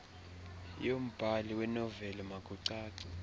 yornbhali wenoveli makucace